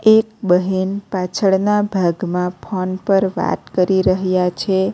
એક બહેન પાછળના ભાગમાં ફોન પર વાત કરી રહ્યા છે.